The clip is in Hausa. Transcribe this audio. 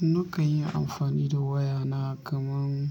Nakan yi amfani da wayana kaman,